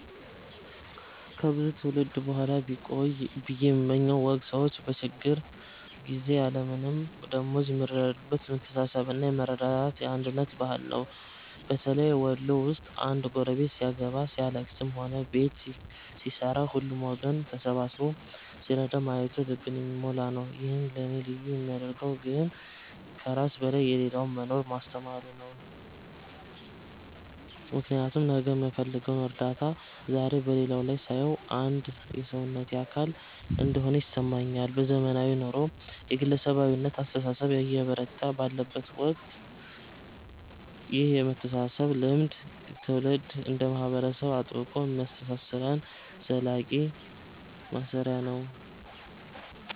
ከብዙ ትውልድ በኋላ ቢቆይ ብየ የምመኘው ወግ ሰዎች በችግር ጊዜ ያለምንም ደመወዝ የሚረዳዱበት የመተሳሰብና የመረዳዳት፣ የአንድነት ባህል ነው። በተለይ ወሎ ውስጥ አንድ ጎረቤት ሲያገባ፣ ሲያልለቅስም ሆነ ቤት ሲሠራ ሁሉም ወገን ተሰብስቦ ሲረዳ ማየቱ ልብን የሚሞላ ነው። ይህን ለእኔ ልዩ የሚያደርገው ግን ከራስ በላይ ለሌላው መኖርን ማስተማሩ ነው፤ ምክንያቱም ነገ የምፈልገውን እርዳታ ዛሬ በሌላው ላይ ሳየው አንድ የሰውነቴ አካል እንደሆነ ይሰማኛል። በዘመናዊው ኑሮ የግለሰባዊነት አስተሳሰብ እየበረታ ባለበት ወቅት ይህ የመተሳሰብ ልምድ ትውልድ እንደ ማህበረሰብ አጥብቆ የሚያስተሳስረን ዘላቂ ማሰሪያ ነው።